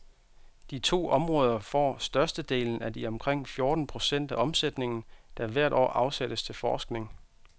De to områder får størstedelen af de omkring fjorten procent af omsætningen, der hvert år afsættes til forskning.